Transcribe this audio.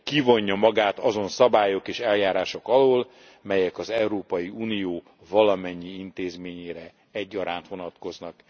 Kivonja magát azon szabályok és eljárások alól, melyek az Európai Unió valamennyi intézményére egyaránt vonatkoznak.